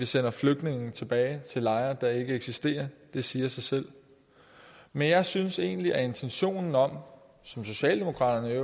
sende flygtninge tilbage til lejre der ikke eksisterer det siger sig selv men jeg synes egentlig at intentionen om som socialdemokraterne i